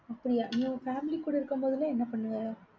அப்படியா? நீ உன் family கூட இருக்கும் போதெல்லாம் என்ன பண்ணுவ?